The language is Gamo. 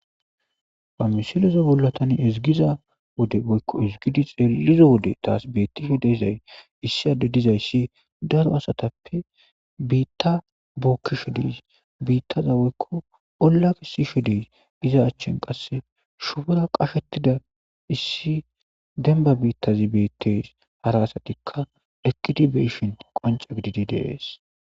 Ha misileza bollatani ezgiza wode oykko izigidi xeellizo wode taas bettisho dezay issi adde dizayssi daro asatappe biitta bookkisho diis biittaza woykko ollak isisho dey iza achchen qasse shufora qashetida issi demba biittazi bettes hara asatikka ekitibeshon qonca gididi dees.